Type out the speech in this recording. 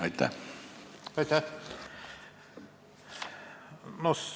Aitäh!